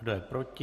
Kdo je proti?